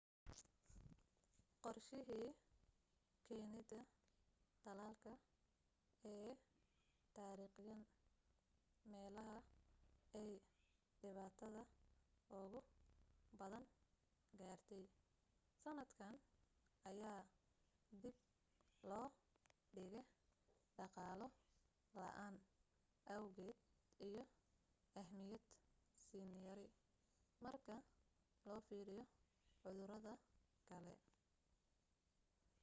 qorshahii keenida talaalka ee taarikhiyan meelaha aay dhibatada ugu badan gaartey sanadkan ayaa dib loo dhige dhaqaalo la'aan awgeed iyo ahmiyad siin yari marka loo fiiriyo cudurada kale